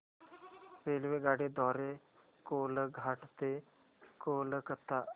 रेल्वेगाडी द्वारे कोलाघाट ते कोलकता